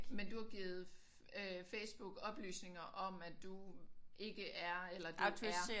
Men du har givet øh Facebook oplysninger om at du ikke er eller du er